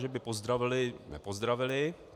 Že by pozdravili - nepozdravili.